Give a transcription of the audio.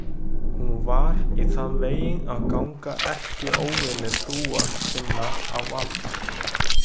Hún var í þann veginn að ganga erkióvini trúar sinnar á vald.